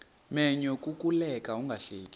menyo kukuleka ungahleki